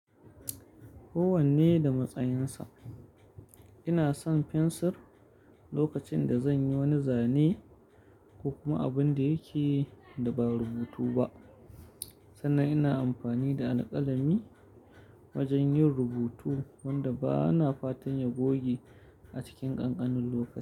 Kowanne da matsayinsa. Ina son fensir lokacin da zan yi wani zane ko kuma abin da yake da ba rubutu ba. Sannan ina amfani da alƙalami wajen yin rubutu wanda ba na fatan ya goge a cikin ƙanƙanin lokaci.